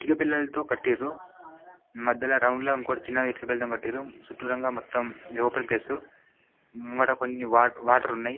ఇటుక పెల్లలతో కట్టిర్రు మధ్యల రౌండ్ లా ఇంకోటి చిన్నది ఇటుక పెల్లలతోని కట్టిన్రు చుట్టూరంగా మొత్తం ఇది ఓపెన్ ప్లేస్ ముంగట కొన్ని వా వాటర్ ఉన్నాయి.